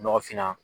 Nɔgɔfinna